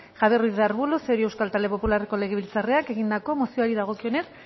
javier ruiz de arbulo cerio euskal talde popularreko legebiltzarkideak egindako mozioari dagokionez